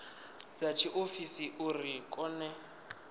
dza tshiofisi uri a kone